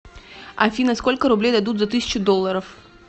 афина сколько рублей дадут за тысячу долларов